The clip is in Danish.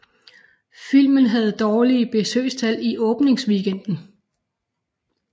Filmen havde dårlige besøgstal i åbningsweekenden